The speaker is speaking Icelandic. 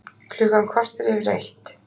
Klukkan korter yfir eitt